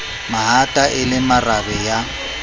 mahata e le marabe ya